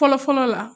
Fɔlɔ fɔlɔ la